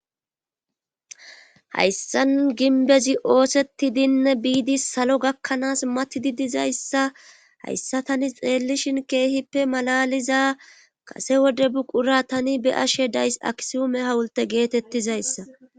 hayssan ginbezi oosettidin biidi salo gakkanaas matidi dizayssa hayssa tani xeellishin keehippe malaliza kase wode buqura tani be ashe days aksuume hawulte geetettizayssa